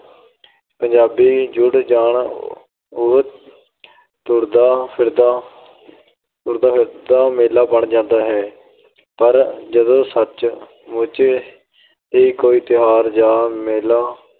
ਪੰਜਾਬੀ ਜੁੜ ਜਾਣ, ਉਹ ਤੁਰਦਾ ਫਿਰਦਾ ਅਹ ਤੁਰਦਾ ਫਿਰਦਾ ਮੇਲਾ ਬਣ ਜਾਂਦਾ ਹੈ। ਪਰ ਜਦੋਂ ਸੱਚ-ਮੁੱਚ ਹੀ ਕੋਈ ਤਿਉਹਾਰ ਜਾਂ ਮੇਲਾ